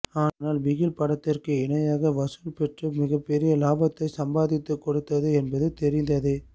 ஆனால் பிகில் படத்திற்கு இணையான வசூலை பெற்று மிகப்பெரிய லாபத்தை சம்பாதித்து கொடுத்தது என்பது தெரிந்ததே